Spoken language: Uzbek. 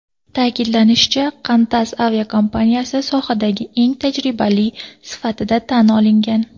Ta’kidlanishicha, Qantas aviakompaniyasi sohadagi eng tajribali sifatida tan olingan.